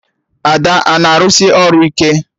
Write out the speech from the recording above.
Ada a na-arụsị ọrụ ike?